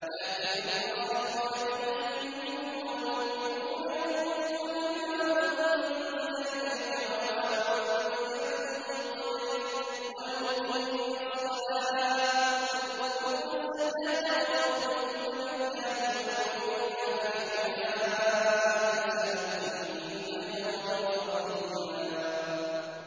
لَّٰكِنِ الرَّاسِخُونَ فِي الْعِلْمِ مِنْهُمْ وَالْمُؤْمِنُونَ يُؤْمِنُونَ بِمَا أُنزِلَ إِلَيْكَ وَمَا أُنزِلَ مِن قَبْلِكَ ۚ وَالْمُقِيمِينَ الصَّلَاةَ ۚ وَالْمُؤْتُونَ الزَّكَاةَ وَالْمُؤْمِنُونَ بِاللَّهِ وَالْيَوْمِ الْآخِرِ أُولَٰئِكَ سَنُؤْتِيهِمْ أَجْرًا عَظِيمًا